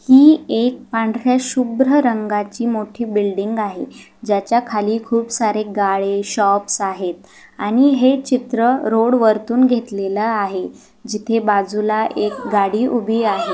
ही एक पांढर्‍या शुभ्र रंगाची मोठी बिल्डिंग आहे ज्याच्या खाली खूप सारे गाळे शॉप्स आहेत आणि हे चित्र रोड वरतून घेतलेला आहे जिथे बाजूला एक गाडी उभी आहे.